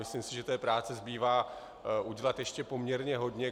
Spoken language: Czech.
Myslím si, že té práce zbývá udělat ještě poměrně hodně.